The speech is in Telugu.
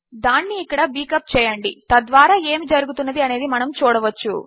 దానిని ఇక్కడ బీక్ అప్ చేయండి తద్వారా ఏమి జరుగుతున్నది అనేది మనము చూడవచ్చు